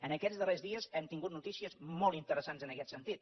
en aquests darrers dies hem tingut notícies molt interessants en aquest sentit